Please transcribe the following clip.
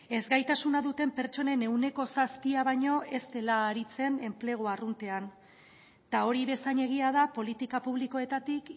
ezgaitasuna duten pertsonen ehuneko zazpia baino ez dela aritzen enplegu arruntean eta hori bezain egia da politika publikoetatik